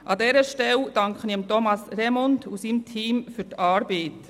An dieser Stelle danke ich Thomas Remund und seinem Team für die Arbeit.